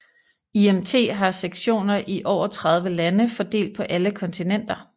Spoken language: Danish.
IMT har sektioner i over 30 lande fordelt på alle kontinenter